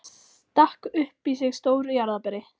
Stakk upp í sig stóru jarðarberi.